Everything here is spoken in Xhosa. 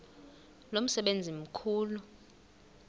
lo msebenzi mkhulu